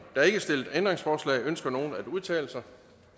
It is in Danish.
er ikke stillet ændringsforslag ønsker nogen at udtale sig